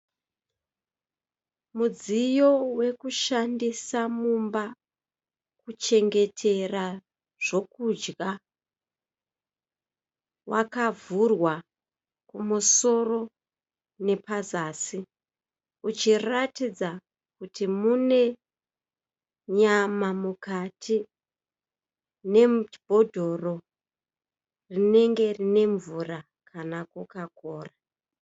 Mudziyo wekushandisa mumba kuchengetera zvokudya. Wakavhurwa kumusoro nepazasi uchiratidza kuti mune nyama mukati nebhodhoro rinenge rine mvura kana kokakora.